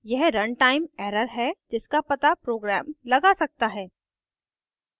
यह runtime error है जिसका it program लगा सकता है